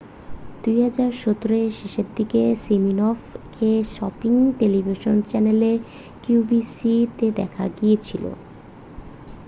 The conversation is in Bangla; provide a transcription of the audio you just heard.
2017 এর শেষের দিকে সিমিনফ-কে শপিং টেলিভিশন চ্যানেল qvc-তে দেখা গিয়েছিল।